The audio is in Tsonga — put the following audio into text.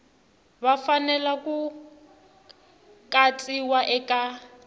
va fanele ku katsiwa eka